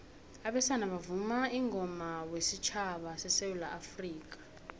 abesana bavuma ingoma wesutjhaba sesewula afrikha